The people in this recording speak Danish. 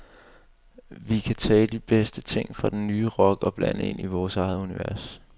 Vi kan tage de bedste ting fra den nye rock og blande ind i vores eget univers.